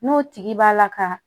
N'o tigi b'a la ka